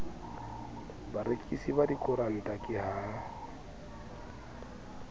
barekisi ba dikoranta ke ha